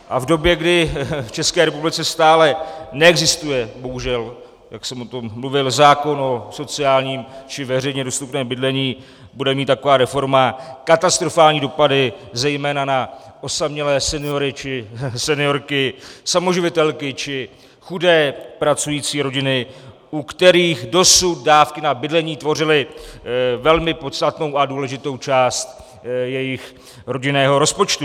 A v době, kdy v České republice stále neexistuje, bohužel, jak jsem o tom mluvil, zákon o sociálním či veřejně dostupném bydlení, bude mít taková reforma katastrofální dopady, zejména na osamělé seniory či seniorky, samoživitelky či chudé pracující rodiny, u kterých dosud dávky na bydlení tvořily velmi podstatnou a důležitou část jejich rodinného rozpočtu.